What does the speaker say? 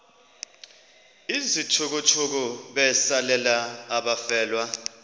izithukuthuku besalela abafelwa